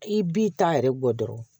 I b'i ta yɛrɛ bɔ dɔrɔn